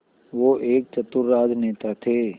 वो एक चतुर राजनेता थे